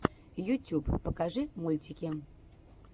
ютюб покажи мультики